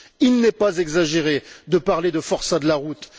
Il n'est pas exagéré de parler de forçats de la route.